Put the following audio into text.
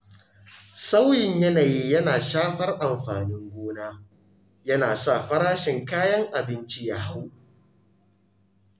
Sauyin yanayi yana shafar amfanin gona, yana sa farashin kayan abinci ya hau.